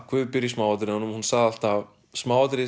guð býr í smáatriðunum hún sagði alltaf smáatriði í